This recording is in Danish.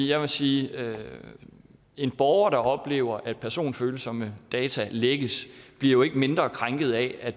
jeg vil sige at en borger der oplever at personfølsomme data lækkes bliver jo ikke mindre krænket af at